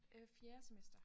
Øh fjerde semester